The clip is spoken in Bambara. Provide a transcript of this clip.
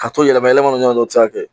Ka to yɛlɛma yɛlɛma ɲɔgɔn na u bɛ se ka kɛ